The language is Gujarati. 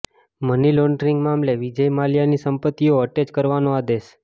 મની લોડ્રિંગ મામલે વિજય માલ્યાની સંપત્તિઓ અટેચ કરવાનો આદેશ